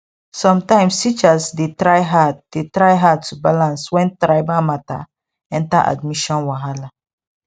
sometimes teachers dey try hard dey try hard to balance when tribal matter enter admission wahala